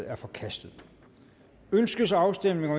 er forkastet ønskes afstemning